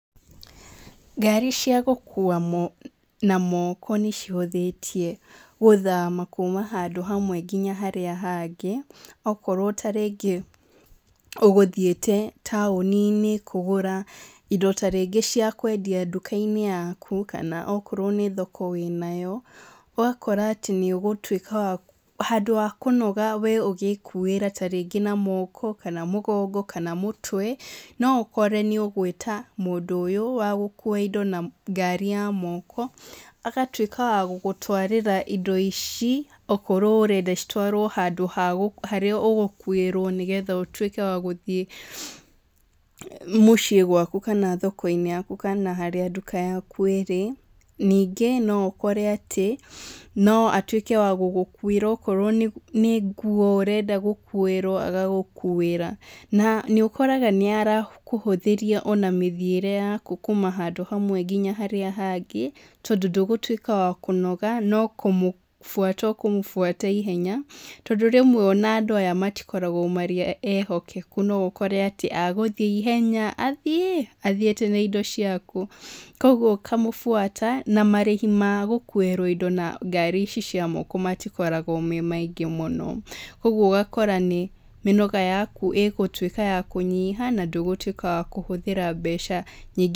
Ngari cia gũkua na moko nĩcihũthĩtie gũthama kuma handũ hamwe nginya harĩa hangĩ. Okorwo ta rĩngĩ ũgũthiĩte taũni-inĩ kũgũra indo ta rĩngĩ cia kwendia nduka-inĩ, yaku kana okorwo nĩ thoko wĩ nayo. Ũgakora atĩ nĩ ũgũtuĩka wa, handũ ha kũnoga we ũgĩkuĩra ta rĩngĩ na moko, kana mũgongo, kana mũtwe, no ũkore nĩ ũgwĩta mũndũ ũyũ wa gũkua indo na ngari ya moko, agatuĩka wa gũgũtwarĩra indo ici. Okorwo ũrenda citwarwo handũ harĩa ũgũkuĩrwo nĩ getha ũtuĩke wa gũthiĩ mũciĩ gwaku kana thoko-inĩ yaku kana harĩa nduka yaku ĩrĩ. Ningĩ no ũkore atĩ no atuĩke wa gũgũkuĩra okorwo nĩ nguo ũrenda gũkuĩrwo agagũkuĩra. Na nĩ ũkoraga nĩ arakũhũthĩria ona mĩthiĩre yaku kuma handũ hamwe nginya harĩa hangĩ tondũ ndũgũtuĩka wa kũnoga no kũmũbuata ũkũmũbuata ihenya, tondũ rĩmwe ona andũ aya matikoragwo marĩ ehokeku no ũkore atĩ agũthiĩ ihenya, athiĩ athiĩte na indo ciaku. Kuũguo ũkamũbuata na marĩhi ma gũkuĩrwo indo na ngari ici cia moko matokoragwo me maingĩ mũno. Uguo ũgakora nĩ mĩnoga yaku ĩgũtuĩka ya kũnyiha na ndũgũtuĩka wa kũhũthĩra mbeca nyingĩ.